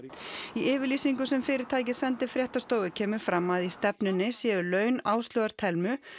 í yfirlýsingu sem fyrirtækið sendi fréttastofu kemur fram að í stefnunni séu laun Áslaugar Thelmu